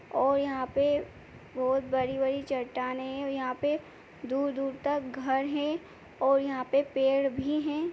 और यहाँ पे बहोत बड़ी-बड़ी चट्टाने हैं और यहाँ पे दूर-दूर तक घर हैं और यहाँ पे पेड़ भी हैं।